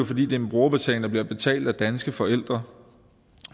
fordi det er en brugerbetaling der bliver betalt af danske forældre